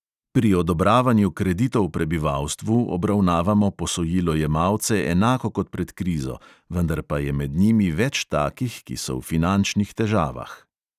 Pri odobravanju kreditov prebivalstvu obravnavamo posojilojemalce enako kot pred krizo, vendar pa je med njimi več takih, ki so v finančnih težavah.